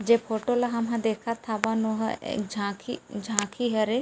जे फोटो ला हम ह देखत हावन ओहा एक झांकी झांकी हरे --